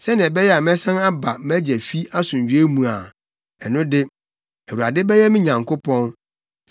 sɛnea ɛbɛyɛ a mɛsan aba mʼagya fi asomdwoe mu a, ɛno de, Awurade bɛyɛ me Nyankopɔn.